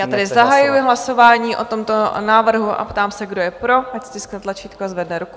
Já tedy zahajuji hlasování o tomto návrhu a ptám se, kdo je pro, ať stiskne tlačítko a zvedne ruku.